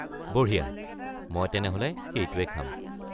বঢ়িয়া! মই তেনেহ’লে সেইটোৱেই খাম।